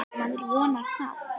Maður vonar það.